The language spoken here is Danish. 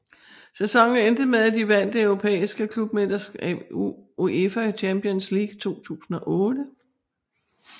Sæsonen endte med at de vandt det europæiske klubmesterskab UEFA Champions League 2008